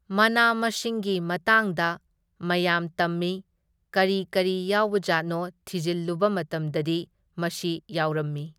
ꯃꯅꯥ ꯃꯁꯤꯡꯒꯤ ꯃꯇꯥꯡꯗ ꯃꯌꯥꯝ ꯇꯝꯃꯤ, ꯀꯔꯤ ꯀꯔꯤ ꯌꯥꯎꯕꯖꯥꯠꯅꯣ ꯊꯤꯖꯤꯜꯂꯨꯕ ꯃꯇꯝꯗꯗꯤ ꯃꯁꯤ ꯌꯥꯎꯔꯝꯃꯤ꯫